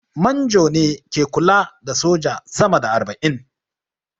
Manjo ne ke kula da soja sama da arba'in